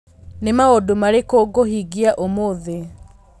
Nĩ maũndũ marĩkũ ngũhingia ũmũthĩ